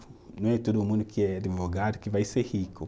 Não é todo mundo que é advogado que vai ser rico.